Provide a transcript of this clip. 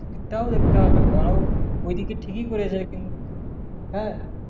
একটাও দেখতে হবে ওদের ওরাও ওই দিকে ঠিকি করেছে কিন হ্যাঁ